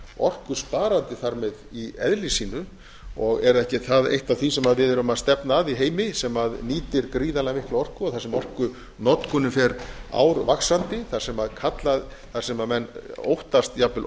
orkusparandi þar með í eðli sínu og er ekki eitt af því sem við erum að stefna að í heimi sem nýtir gríðarlega mikla orku þar sem orkunotkunin fer árvaxandi þar sem menn óttast jafnvel